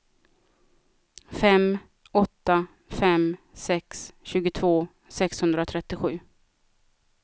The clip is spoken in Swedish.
fem åtta fem sex tjugotvå sexhundratrettiosju